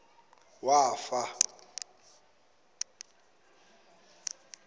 wafa